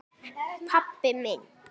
pabbi minn